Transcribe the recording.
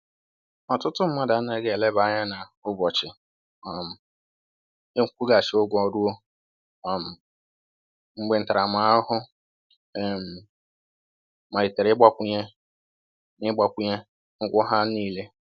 Ọtụtụ mmadụ anaghị eleba anya na ụbọchị um nkwụghachi ụgwọ ruo um mgbe ntaramahụhụ um malitere ịgbakwunye na ịgbakwunye na ụgwọ ha niil